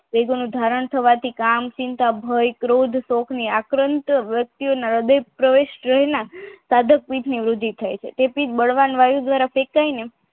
એ જેનું ધારણ થવાથી કામ ચિંતા ભય ક્રોધ આક્રાંત સડક રીતની વૃદ્ધિ થાય છે તેથી બળવાન વાયુ દ્વારા જે કે